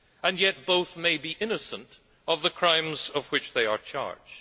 And yet both may be innocent of the crimes of which they are charged.